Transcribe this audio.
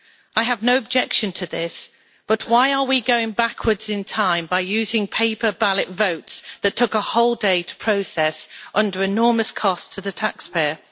I have no objection to this, but why are we going backwards in time by using paper ballot votes that took a whole day to process under enormous cost to the taxpayer?